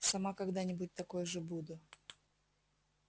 сама когда-нибудь такой же буду